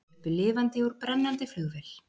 Sluppu lifandi úr brennandi flugvél